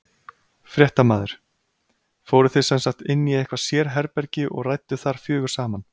Fréttamaður: Fóruð þið sem sagt inn í eitthvað sérherbergi og rædduð þar fjögur saman?